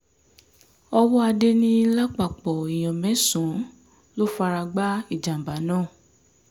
ọwọ́adé ní lápapọ̀ èèyàn mẹ́sàn-án ló fara gbá ìjàm̀bá náà